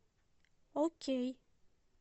окей